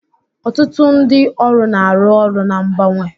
Ọtụtụ ndị ọrụ na-arụ ọrụ na mgbanwe